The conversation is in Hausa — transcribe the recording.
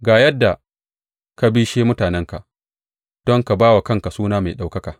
Ga yadda ka bishe mutanenka don ka ba wa kanka suna mai ɗaukaka.